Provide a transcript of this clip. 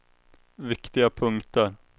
viktiga punkter